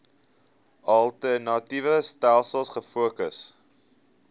alternatiewe stelsels gefokus